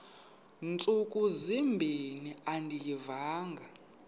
ntsuku zimbin andiyivanga